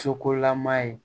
Sokolama ye